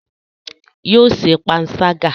Yóò ṣe panṣágà